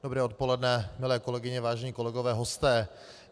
Dobré odpoledne, milé kolegyně, vážení kolegové, hosté.